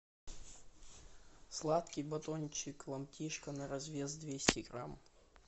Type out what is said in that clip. сладкий батончик ломтишка на развес двести грамм